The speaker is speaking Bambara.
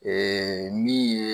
Eee min ye